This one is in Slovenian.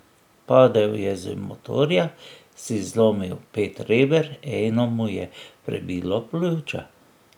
Padel je z motorja, si zlomil pet reber, eno mu je prebilo pljuča.